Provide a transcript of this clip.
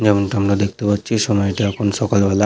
যেমনটা আমরা দেখতে পাচ্ছি সময়টা এখন সকাল বেলা ।